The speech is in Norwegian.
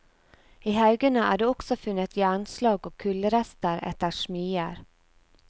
I haugene er det også funnet jernslagg og kullrester etter smier.